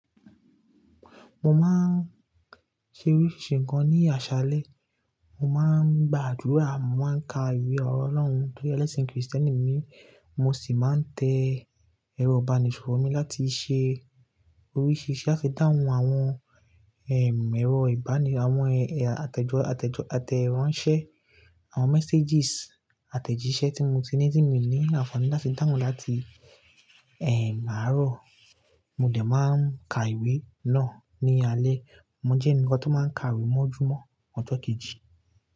Mo máa ń ṣe oríṣí ǹkan ní àṣálẹ́. Mo máa ń gba àdúrà, mo màá ń ka ìwé ọ̀rọ̀ Ọlọ́run torí ẹlẹ́sìn Kristẹni mi. Mo sì máa ń tẹ ẹrọ ìbánisọ̀rọ̀ mi láti ṣe oríṣìṣí lati dáhun àwọn, ẹm, ẹ̀rọ ìbánidọ́rẹ́, àwọn ẹ̀, àtẹ̀jọ, àtẹ̀jọ, àtẹ̀ránsẹ́, àwọn àtẹ̀jíṣẹ́ tí mo ti ní, tí mi o ní àǹfààní láti dahun láti, ẹm, àárọ̀. Mo de máa ń ka ìwé náà ní alé. Mo jẹ́ ẹnìkan tó máa ń ka ìwé mọ́júmọ́ ọjọ́ kejì.